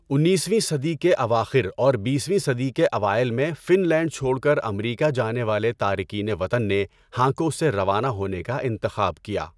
انیسویں صدی کے اواخر اور بیسویں صدی کے اوائل میں فن لینڈ چھوڑ کر امریکہ جانے والے تارکین وطن نے ہانکو سے روانہ ہونے کا انتخاب کیا۔